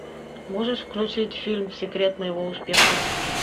можешь включить фильм секрет моего успеха